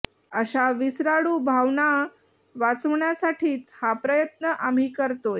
अशा विसराळू भावांना वाचवण्यासाठीच हा प्रयत्न आम्ही करतोय